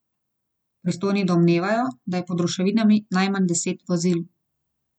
Pristojni domnevajo, da je pod ruševinami najmanj deset vozil.